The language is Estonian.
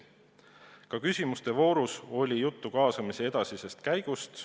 Ka küsimuste voorus oli juttu kaasamise edasisest käigust.